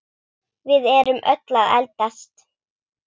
Við erum öll að eldast.